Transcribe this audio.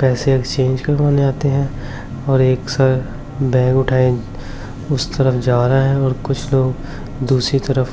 पैसे एक्सचेंज करवाने आते हैं और एक साथ बैग उठाएं उस तरफ जा रहा हैं और कुछ लोग दूसरी तरफ--